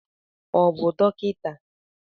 Ọ bụ dọkịta?